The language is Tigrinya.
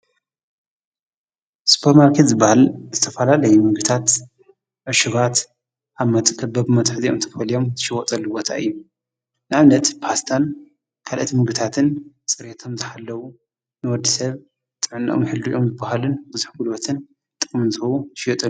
ስፐርማርከት ዝበሃል ምስተፋላለይ ምግብታት ኣሽባት ኣብ መጥ ቀበብ መትሕ ዚኦም ተፈልዮም ሽወፁኣልወታ እዩ ንኣምነት ፓስታን ካልእቲ ምግታትን ጽርቶም ዘሓለዉ ንወዲ ሰብ ጥዕናኦም ሕልድዑም ዝብሃልን ብዙኅ ጕሉበትን ጥምንዘዉ ሽየጡ።